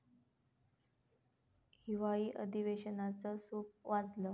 हिवाळी अधिवेशनाचं सूप वाजलं